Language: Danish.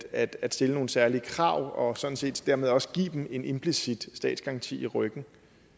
at stille nogle særlige krav og sådan set dermed også give dem en implicit statsgaranti i ryggen